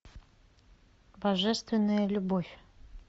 божественная любовь